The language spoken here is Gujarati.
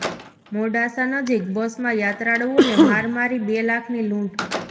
મોડાસા નજીક બસમાં યાત્રાળુઓને માર મારી બે લાખની લૂંટ